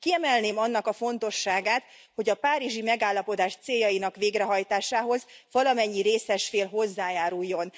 Kiemelném annak a fontosságát, hogy a Párizsi Megállapodás céljainak végrehajtásához valamennyi részes fél hozzájáruljon.